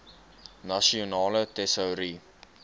nasionale tesourie